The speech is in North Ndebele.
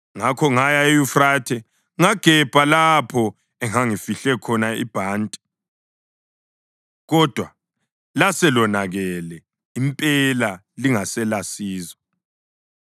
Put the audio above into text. Ngakho ngaya eYufrathe ngagebha lapho engangifihle khona ibhanti, kodwa laselonakele impela lingaselasizo.